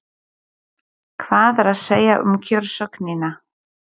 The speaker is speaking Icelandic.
Hvað er að segja um kjörsóknina?